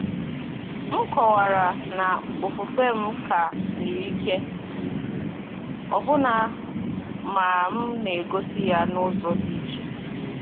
M kọ̀wara na ofufe m ka siri ike, ọbụna ma m na-egosi ya n’ụzọ dị iche.